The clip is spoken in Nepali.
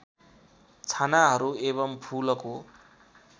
छानाहरू एवम् फूलको